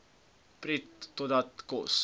prut totdat kos